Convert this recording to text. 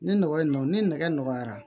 Ni nɔgɔ in don ni nɛgɛ nɔgɔyara